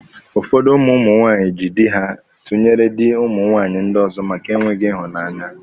Ụfọdụ ụmụ ụmụ nwaanyị jị dị ha tụnyere dị ụmụ nwaanyị ndị ọzọ maka enweghị ịhụnanya.